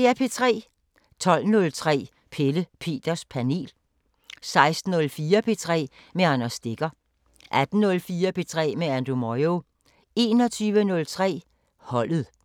12:03: Pelle Peters Panel 16:04: P3 med Anders Stegger 18:04: P3 med Andrew Moyo 21:03: Holdet